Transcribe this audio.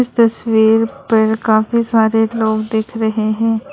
इस तस्वीर पर काफी सारे लोग दिख रहे हैं।